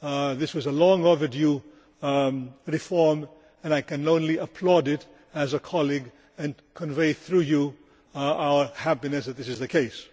This was a long overdue reform and I can only applaud it, as a colleague, and convey, through you, our happiness that this is the case.